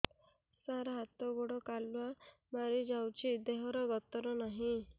ସାର ହାତ ଗୋଡ଼ କାଲୁଆ ମାରି ଯାଉଛି ଦେହର ଗତର ନାହିଁ